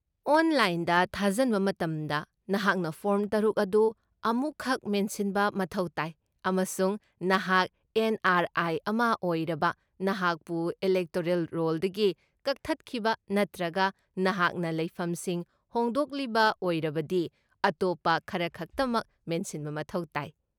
ꯑꯣꯟꯂꯥꯏꯟꯗ ꯊꯥꯖꯟꯕ ꯃꯇꯝꯗ, ꯅꯍꯥꯛꯅ ꯐꯣꯔꯝ ꯇꯔꯨꯛ ꯑꯗꯨ ꯑꯃꯨꯛꯈꯛ ꯃꯦꯟꯁꯤꯟꯕ ꯃꯊꯧ ꯇꯥꯏ ꯑꯃꯁꯨꯡ ꯅꯍꯥꯛ ꯑꯦꯟ.ꯑꯥꯔ.ꯑꯥꯏ. ꯑꯃ ꯑꯣꯏꯔꯕ, ꯅꯍꯥꯛꯄꯨ ꯏꯂꯦꯛꯇꯣꯔꯦꯜ ꯔꯣꯜꯗꯒꯤ ꯀꯛꯊꯠꯈꯤꯕ, ꯅꯠꯇ꯭ꯔꯒ ꯅꯍꯥꯛꯅ ꯂꯩꯐꯝꯁꯤꯡ ꯍꯣꯡꯗꯣꯛꯂꯤꯕ ꯑꯣꯏꯔꯕꯗꯤ, ꯑꯇꯣꯞꯄ ꯈꯔꯈꯛꯇꯃꯛ ꯃꯦꯟꯁꯤꯟꯕ ꯃꯊꯧ ꯇꯥꯏ꯫